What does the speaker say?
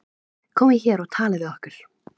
Komið þið hér og talið við okkur.